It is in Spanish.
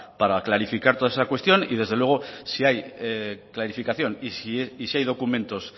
para clarificar toda esa cuestión y desde luego si hay clarificación y si hay documentos